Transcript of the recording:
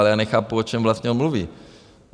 Ale já nechápu, o čem vlastně on mluví.